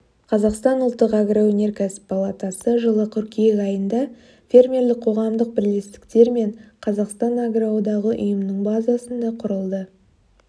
қазақстан ұлттық агроөнеркәсіп палатасы жылы қыркүйек айында фермерлік қоғамдық бірлестіктер мен қазақстан агроодағы ұйымының базасында құрылды